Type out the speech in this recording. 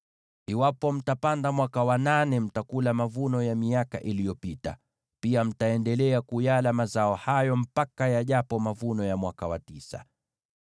Mnapopanda mwaka wa nane, mtakula mavuno ya miaka iliyopita. Pia mtaendelea kuyala mazao hayo hadi mvune mavuno ya mwaka wa tisa.